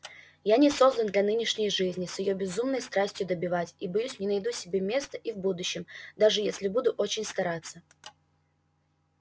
я не создан для нынешней жизни с её безумной страстью добивать и боюсь не найду себе места и в будущем даже если буду очень стараться